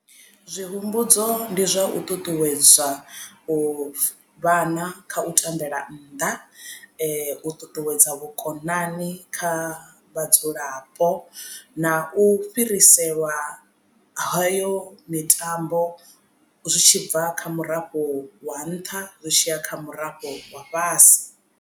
Zwi humbudzo ndi zwa u ṱuṱuwedza u vhana kha u tambela nnḓa u ṱuṱuwedza vhukonani kha vhadzulapo na u fhiriselwa hayo mitambo zwi tshibva kha murafho wa nṱha zwi tshiya kha murafho wa fhasi.